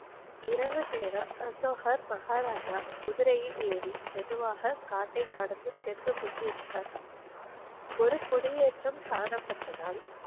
இரவு நேரம் அசோகர் மகாராஜா, குதிரையில் ஏறி மெதுவாக காட்டை கடந்து சென்று கொண்டிருந்தார். ஒரு குடியேற்றம் காணப்பட்டதால்,